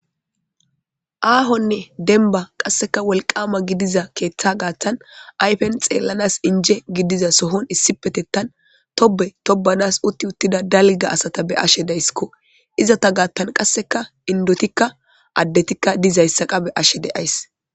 Aahone demba qasek wolqama gidiza keetha gathan ayfes xelanas inje gidida sohon Asat issipetetan Tobe tobanas uti utida dalga asata beyashe daysko . Izeta gatan qaseka indotika adetika dizaysa qas beyashe days .